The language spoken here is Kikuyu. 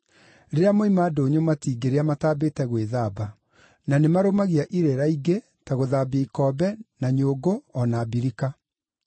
Rĩrĩa moima ndũnyũ matingĩrĩa matambĩte gwĩthamba. Na nĩ marũmagia irĩra ingĩ, ta gũthambia ikombe, na nyũngũ o na mbirika).